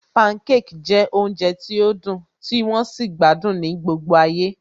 Pancake jẹ́ oúnjẹ tí ó dùn tí wón sì gbádùn ní gbogbo ayé